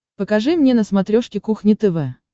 покажи мне на смотрешке кухня тв